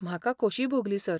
म्हाका खोशी भोगली, सर.